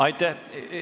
Aitäh!